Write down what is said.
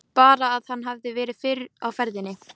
Bara að hann hefði verið fyrr á ferðinni.